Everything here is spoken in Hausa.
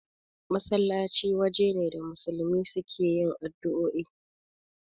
Masallaci waje ne da musulmi suke yin addu'oi